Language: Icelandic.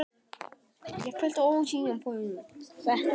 Ég fylltist ólýsanlegum fögnuði og þakklæti.